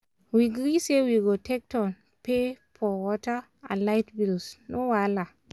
we gree say we go take turn for pay water and light bills no wahala!